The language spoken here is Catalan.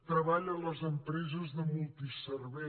treball a les empreses de multiservei